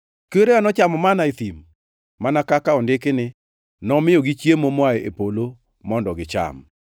Kwerewa nochamo manna e thim; mana kaka ondiki ni, ‘Nomiyogi chiemo moa e polo mondo gicham.’ + 6:31 \+xt Wuo 16:4; Neh 9:15; Zab 78:24,25\+xt*”